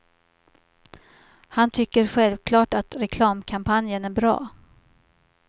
Han tycker självklart att reklamkampanjen är bra.